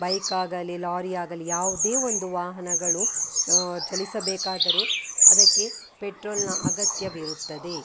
Bike ಆಗಲಿ lorry ಆಗಲಿ ಯಾವುದೇ ಒಂದು ವಾಹನಗಳು ಅಹ್ ಚಲಿಸಬೇಕಾದರೆ ಅದಕ್ಕೆ ಪೆಟ್ರೋಲಿನ ಅಗತ್ಯವಿರುತ್ತದೆ .